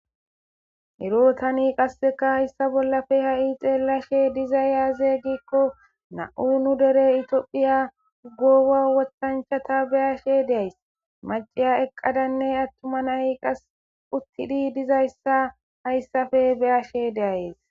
erootani qasseka hayssa bollafe ha7i xeellashe diza yaazey gikko na7u nu dere itoophiya ugoowa woththanchata beyashe deays maciya eqqadanne attuma nay qas uttidi dizayssa hayssafe beyashe deayes